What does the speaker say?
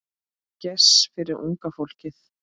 Gess fyrir unga fólkið.